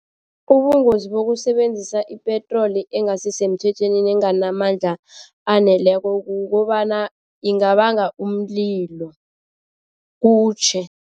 Ubungozi bokusebenzisa ipetroli engasisemthethweni nenganamandla aneleko kukobana ingabanga umlilo kutjhe.